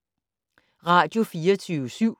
Radio24syv